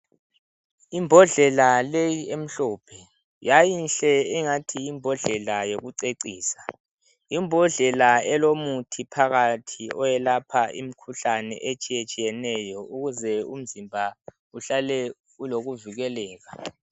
Imbodlela leyi emhlophe yayinhle ingani yimbodlela yokucecisa. Yimbodlela elomuthi phakathi eyokwelapha imikhuhlane etshiyetshineyo ukuze umzimba uhlale ulokuvikeleka.